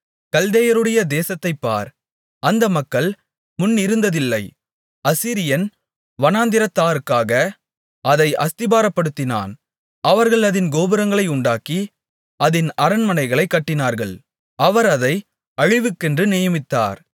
கல்தேயருடைய தேசத்தைப் பார் அந்த மக்கள் முன்னிருந்ததில்லை அசீரியன் வனாந்திரத்தாருக்காக அதை அஸ்திபாரப்படுத்தினான் அவர்கள் அதின் கோபுரங்களை உண்டாக்கி அதின் அரண்மனைகளைக் கட்டினார்கள் அவர் அதை அழிவுக்கென்று நியமித்தார்